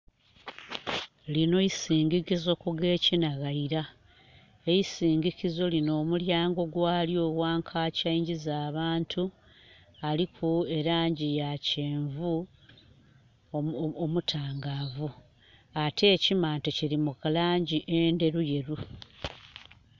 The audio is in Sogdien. Lino isinginkizo ku gekinaghaira. Eisinginkizo lino omulyango gwalyo wankakyi angiza abantu, aliku e langi ya kyenvu omutangavu ate ekimante kiri mu langi enderuyeru